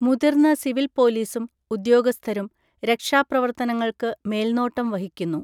മുതിർന്ന സിവിൽ പോലീസും, ഉദ്യോഗസ്ഥരും രക്ഷാപ്രവർത്തനങ്ങൾക്ക് മേൽനോട്ടം വഹിക്കുന്നു.